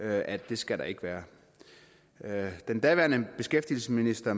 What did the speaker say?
at det skal der ikke være den daværende beskæftigelsesminister